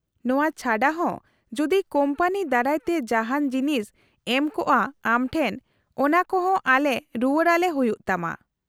-ᱱᱚᱶᱟ ᱪᱷᱟᱰᱟ ᱦᱚᱸ ᱡᱩᱫᱤ ᱠᱳᱢᱯᱟᱱᱤ ᱫᱟᱨᱟᱭ ᱛᱮ ᱡᱟᱦᱟᱱ ᱡᱤᱱᱤᱥ ᱮᱢ ᱠᱚᱜᱼᱟ ᱟᱢ ᱴᱷᱮᱱ ᱚᱱᱟᱠᱚ ᱦᱚᱸ ᱟᱞᱮ ᱨᱩᱣᱟᱹᱲ ᱟᱞᱮ ᱦᱩᱭᱩᱜ ᱛᱟᱢᱟ ᱾